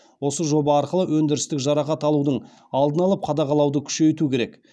осы жоба арқылы өндірістік жарақат алудың алдын алып қадағалауды күшейту керек